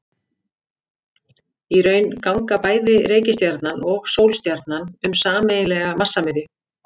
Í raun ganga bæði reikistjarnan og sólstjarnan um sameiginlega massamiðju.